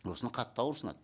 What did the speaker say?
осыны қатты ауырсынады